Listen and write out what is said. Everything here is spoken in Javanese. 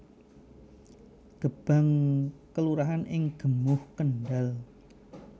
Gebang kelurahan ing Gemuh Kendhal